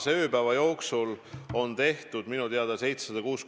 Mind praegu huvitabki, mis on see konkreetne takistus, mis ei võimalda meil testide arvu suurendada.